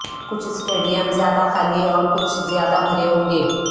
کچھ اسٹیڈیم زیادہ خالی اور کچھ زیادہ بھرے ہوں گے